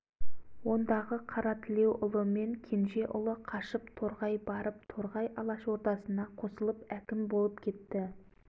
күнбатыс дегені барлық қазақстанның күнбатыс жақ жарымының үкіметі дегені милиция лезде-ақ әскер болды алашордаға бағынбай жатқан